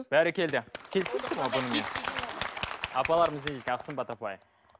бәрекелді келесіздер ме бұнымен апаларымыз не дейді сымбат апай